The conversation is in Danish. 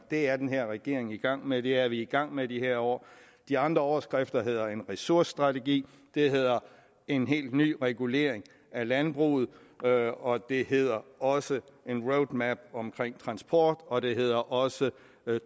det er den her regering i gang med det er vi i gang med de her år de andre overskrifter hedder en ressourcestrategi det hedder en helt ny regulering af landbruget og og det hedder også en roadmap omkring transport og det hedder også